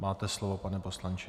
Máte slovo, pane poslanče.